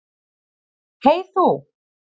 Hey þú.